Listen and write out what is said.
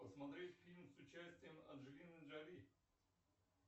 посмотреть фильм с участием анджелины джоли